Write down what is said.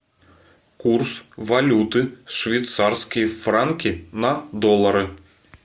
курс валюты швейцарские франки на доллары